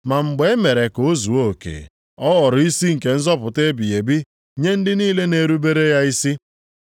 Ma mgbe e mere ka o zuo oke, ọ ghọrọ isi nke nzọpụta ebighị ebi nye ndị niile na-erubere ya isi.